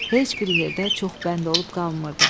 Heç bir yerdə çox bənd olub qalmışdı.